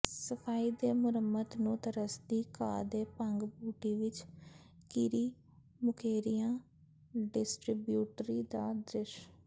ਸਫਾਈ ਤੇ ਮੁਰੰਮਤ ਨੂੰ ਤਰਸਦੀ ਘਾਹ ਤੇ ਭੰਗ ਬੂਟੀ ਵਿੱਚ ਘਿਰੀ ਮੁਕੇਰੀਆਂ ਡਿਸਟਰੀਬਿਊਟਰੀ ਦਾ ਦ੍ਰਿਸ਼